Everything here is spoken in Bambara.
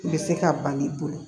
Bɛ se ka ban i bolo